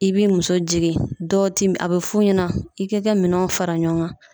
I b'i muso jigin, dɔɔti a be f'u ɲɛna i k'i ka minɛnw fara ɲɔgɔn kan.